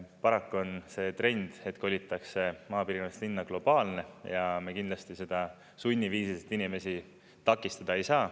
Paraku on see trend, et kolitakse maapiirkonnast linna, globaalne ja me kindlasti seda sunniviisiliselt inimesi takistada ei saa.